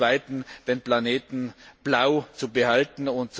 Zum Zweiten den Planeten blau zu erhalten.